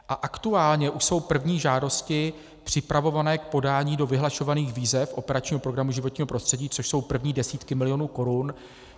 A aktuálně už jsou první žádosti připravované k podání do vyhlašovaných výzev operačního programu Životního prostředí, což jsou první desítky milionů korun.